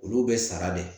Olu bɛ sara de